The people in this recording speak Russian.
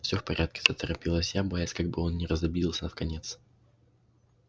всё в порядке заторопилась я боясь как бы он не разобиделся вконец